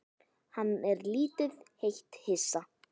Hann er lítið eitt hissa.